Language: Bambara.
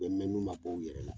U bɛ mɛn n'u ma bɔ u yɛrɛ la